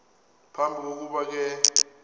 phambi kokuba ke